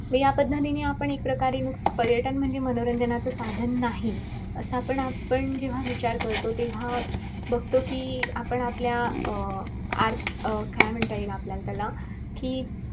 या पद्धतीने आपण एकप्रकारे पर्यटन म्हणजे मनोरंजन च साधन नाही. असं आपणआपण जेव्हा विचार करतो तेव्हा बगतो कि आपण आपल्या अं आर अं काय म्हणता येईल आपल्याला त्याला कि,